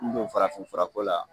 N b'o farafin furako la